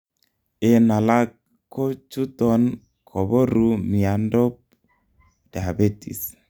en alag ko chuton koboruu miandop Diabetes